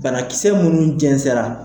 Banakisɛ minnu jɛnsɛra